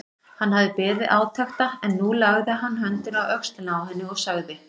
Hann hafði beðið átekta en nú lagði hann höndina á öxlina á henni og sagði